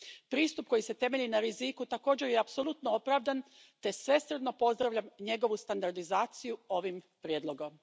Pristup koji se temelji na riziku, također je apsolutno opravdan te svesrdno pozdravljam njegovu standardizaciju ovim prijedlogom.